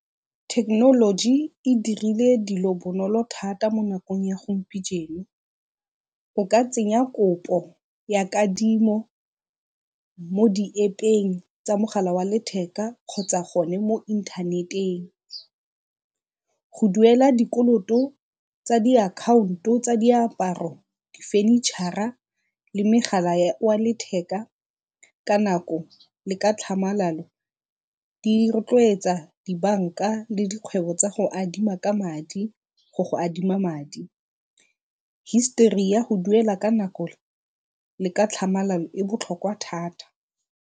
Thekenoloji e dirile dilo bonolo thata mo nakong ya . O ka tsenya kopo ya kadimo mo di-App-eng tsa mogala wa letheka kgotsa gone mo inthaneteng. Go duela dikoloto tsa diakhaonto tsa diaparo, di-furniture-a le megala wa letheka ka nako le ka tlhamalalo, di rotloetsa dibanka le dikgwebo tsa go adima ka madi go go adima madi. Hisitori ya go duela ka nako le ka tlhamalalo e botlhokwa thata.